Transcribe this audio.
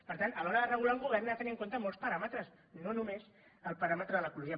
per tant a l’hora de regular un govern ha de tenir en compte molts paràmetres no només el paràmetre de l’ecologia